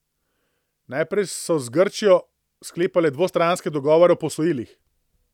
Najprej so z Grčijo sklepale dvostranske dogovore o posojilih.